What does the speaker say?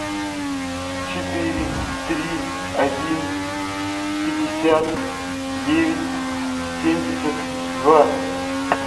четыре три один пятьдесят девять семьдесят два